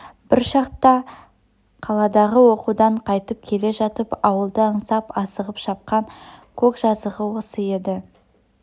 бір шақта қаладағы оқудан қайтып келе жатып ауылды аңсап асығып шапқан көк жазығы осы еді